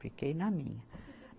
Fiquei na minha.